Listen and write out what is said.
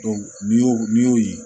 n'i y'o n'i y'o ye